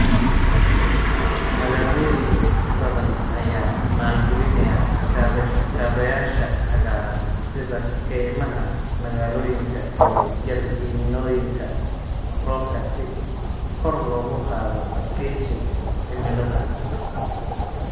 Magaalooyin badan ayaa maalgelinaya kaabayaasha cagaaran, sida kaymaha magaalooyinka iyo jardiinooyinka roobka, si kor loogu qaado adkeysiga cimilada.